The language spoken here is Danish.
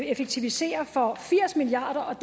effektivisere for firs milliard